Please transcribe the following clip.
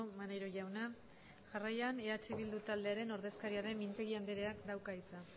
maneiro jauna jarraian eh bildu taldearen ordezkaria den mintegi andreak dauka hitza